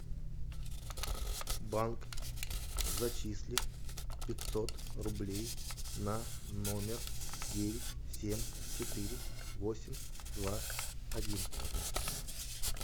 банк зачисли пятьсот рублей на номер девять семь четыре восемь два один